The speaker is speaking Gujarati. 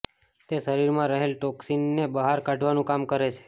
તે શરીરમાં રહેલ ટોક્સીનને બહાર કાઢવાનું કામ કરે છે